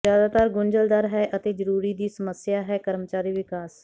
ਜ਼ਿਆਦਾਤਰ ਗੁੰਝਲਦਾਰ ਹੈ ਅਤੇ ਜ਼ਰੂਰੀ ਦੀ ਸਮੱਸਿਆ ਹੈ ਕਰਮਚਾਰੀ ਵਿਕਾਸ